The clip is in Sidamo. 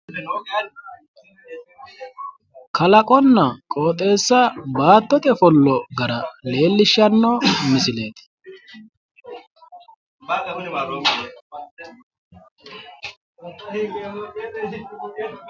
kalaqonna qooxeessa baattote ofollo gara leellishshanno misileeti.